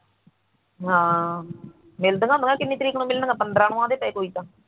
ਹਾਂ ਮਿਲਣੀਆਂ ਪੰਦਰਾ ਤਰੀਕ ਨੂੰ ਕੋਈ ਕਹਿੰਦਾ